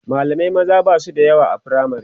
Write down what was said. mallamai maza Basu da yawa a firamare